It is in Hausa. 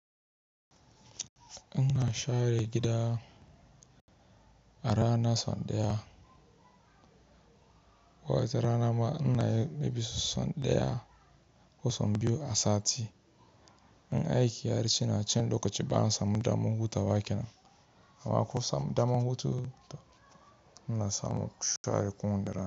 Ina share gida a rana sau ɗaya. Wata rana ma ina yi yafi sau ɗaya ko sau biyu a sati. In aiki ya riƙeni a can lokacin bani samu daman hutawa kenan. Amma ko samu daman huta ina samu in share kuma da rana.